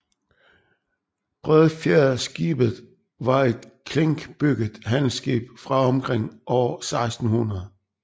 Bredfjedskibet var et klinkbygget handelsskib fra omkring år 1600